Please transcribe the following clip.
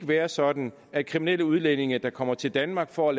være sådan at kriminelle udlændinge der kommer til danmark for at